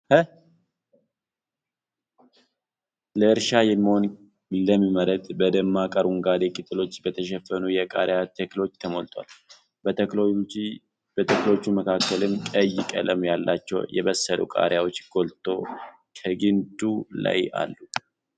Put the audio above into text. ለእርሻ የሚሆን ለም መሬት፣ በደማቅ አረንጓዴ ቅጠሎች በተሸፈኑ የቃሪያ ተክሎች ተሞልቷል። በተክሎቹ መካከልም ቀይ ቀለም ያላቸው የበሰሉ ቃሪያዎች ጎልተው ከግ ንዱ ላይ አሉ።